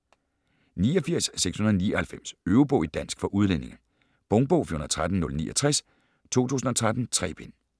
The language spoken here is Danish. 89.699 Øvebog i dansk for udlændinge Punktbog 413069 2013. 3 bind.